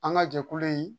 An ka jɛkulu in